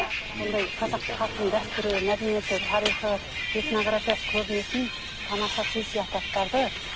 ммм сондай қазақ халқының дәстүрі мәдениеті тарихы этнографиясы көрінетін тамаша сый сияпаттарды